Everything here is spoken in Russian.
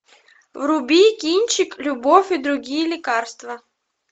вруби кинчик любовь и другие лекарства